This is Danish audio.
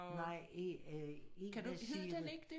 Nej øh ikke Sigrid